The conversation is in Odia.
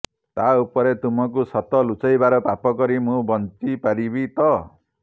ତା ଉପରେ ତୁମକୁ ସତ ଲୁଚାଇବାର ପାପ କରି ମୁଁ ବଞ୍ଚି ପାରିବି ତ